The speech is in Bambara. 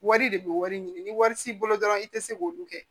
Wari de bɛ wari ɲini ni wari t'i bolo dɔrɔn i tɛ se k'olu kɛ